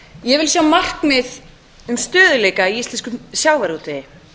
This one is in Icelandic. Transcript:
ég vil sjá markmið um stöðugleika í íslenskum sjávarútvegi